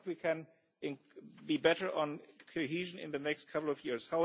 I think we can be better on cohesion in the next couple of years.